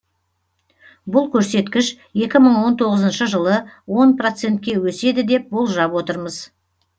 бұл көрсеткіш екі мың он тоғызыншы жылы он процентке өседі деп болжап отырмыз